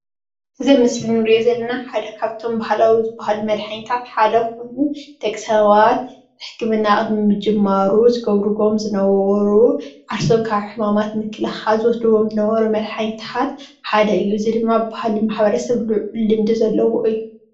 እዚ አብ ምስሊ እንሪኦ ዘለና ሓደ ካብቶሞ ባህላዊ ዝበሃሉ መድሓኒታት ሓደ ኮይኑ ደቂ ሰባት ሕክምና ቅድሚ ምጅማሩ ዝብርዎም ዝነበሩ ዓርሶም ካብ ሕማም ንምክልካል ዝወስድዎም ዝነበሩ መድሓኒታት ሓደ እዩ። እዚ ድማ ብካል ማሕበረሰብ ልዑል ልምዲ ዘለዎ እዩ።